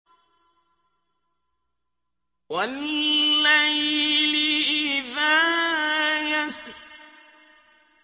وَاللَّيْلِ إِذَا يَسْرِ